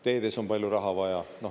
Teedes on palju raha vaja.